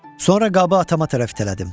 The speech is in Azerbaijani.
Sonra qabı atama tərəf itələdim.